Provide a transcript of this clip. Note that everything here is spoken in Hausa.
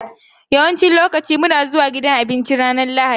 Yawancin lokaci muna zuwa gidan abinci a ranar Lahadi.